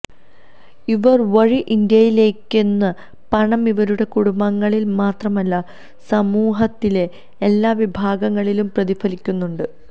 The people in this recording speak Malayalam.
ഇവർ വഴി ഇന്ത്യയിലെക്കുന്ന പണം ഇവരുടെ കുടുംബങ്ങളിൽ മാത്രമല്ല സമൂഹത്തിലെ എല്ലാ വിഭാഗങ്ങളിലും പ്രതിഫലിക്കുന്നുണ്ട്